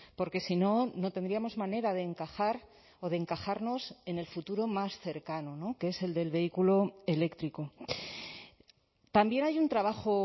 porque si no no tendríamos manera de encajar o de encajarnos en el futuro más cercano que es el del vehículo eléctrico también hay un trabajo